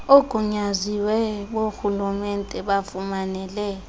oogunyaziwe borhulumente bafumanele